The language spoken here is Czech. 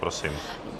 Prosím.